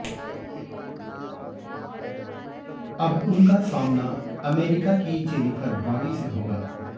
अब उनका सामना अमेरिका की जेनिफर ब्राडी से होगा